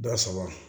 Dɔ saba